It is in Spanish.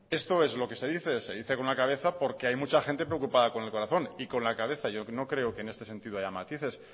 esto es lo que se dice se dice con la cabeza porque hay mucha gente preocupada con el corazón y con la cabeza que no creo que este sentido haya matices